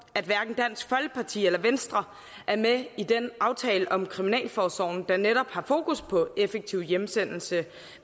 at hverken dansk folkeparti eller venstre er med i den aftale om kriminalforsorgen der netop har fokus på effektiv hjemsendelse